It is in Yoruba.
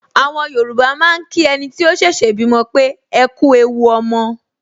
Àwọn Yorùbá máa ń kí ẹniti ó ṣẹ̀ṣẹ̀ bímọ pé "ekú ewu ọmọ"